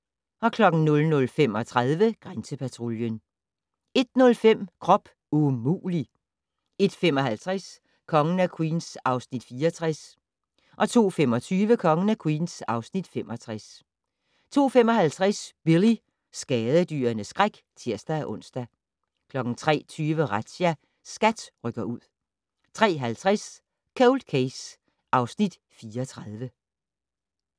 00:35: Grænsepatruljen 01:05: Krop umulig! 01:55: Kongen af Queens (Afs. 64) 02:25: Kongen af Queens (Afs. 65) 02:55: Billy - skadedyrenes skræk (tir-ons) 03:20: Razzia - SKAT rykker ud 03:50: Cold Case (Afs. 34)